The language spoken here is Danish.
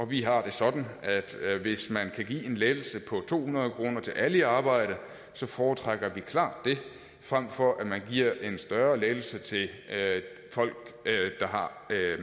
vi har det sådan at hvis man kan give en lettelse på to hundrede kroner til alle i arbejde foretrækker vi klart det frem for at man giver en større lettelse til folk der har